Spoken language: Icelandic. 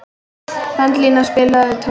Belinda, spilaðu tónlist.